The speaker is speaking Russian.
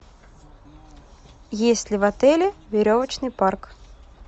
есть ли в отеле веревочный парк